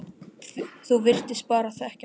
Þú virtist bara þekkja alla.